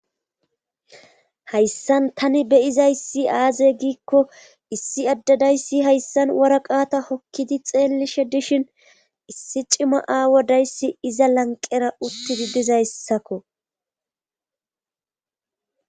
Hayssan tani beyizayssi aaze giikko issi addadayssi hayssan wora qaata hokkidi xeellishe dishin issi cima aawodayssi iza lanqera uttidi dizayssakko.